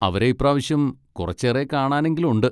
അവരെ ഇപ്പ്രാവശ്യം കുറച്ചേറെ കാണാനെങ്കിലും ഉണ്ട്.